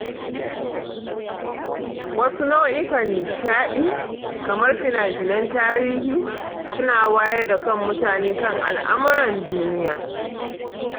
Wasu nau'ikan nishadi, kamar fina-finan tarihi, su na wayar da kan mutane kan al'amuran duniya.